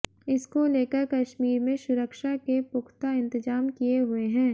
इसको लेकर कश्मीर में सुरक्षा के पुख्ता इंतजाम किए हुए हैं